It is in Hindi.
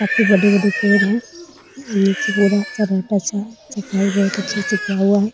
काफी बड़े-बड़े पेड़ है नीचे पूरा सन्नाटा-सा सफाई बहुत से किया हुआ है।